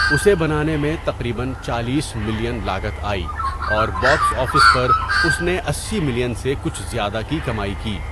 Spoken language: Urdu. اسے بنانے میں تقریباً چالیس ملین لاگت آئی اور باکس آفس پر اس نے اسی ملین سے کچھ زیادہ کی کمائی کی۔